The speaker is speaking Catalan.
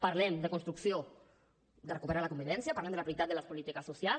parlem de construcció de recuperar la convivència parlem de la prioritat de les polítiques socials